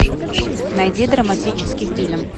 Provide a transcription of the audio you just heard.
найди драматический фильм